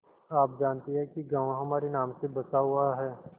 आप जानती हैं कि गॉँव हमारे नाम से बसा हुआ है